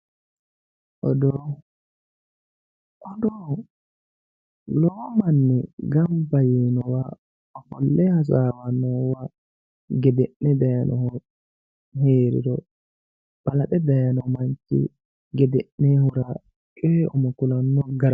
Oodo oddo lowo manni ganba yinowa ofoke hasawanowa gedene dayinohu heriro balaxe dayino manchi gedenehura coyi umo kulano garati